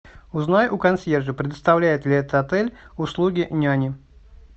узнай у консьержа предоставляет ли этот отель услуги няни